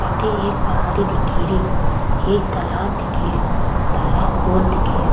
अठे एक पहाड़ी दिखे री एक तालाब दिखे रियो तालाब गोल दिखे रियो।